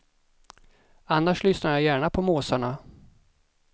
Annars lyssnar jag gärna på måsarna.